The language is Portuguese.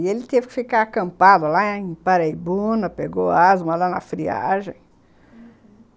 E ele teve que ficar acampado lá em Paraibuna, pegou asma lá na friagem, uhum.